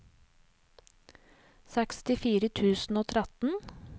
sekstifire tusen og tretten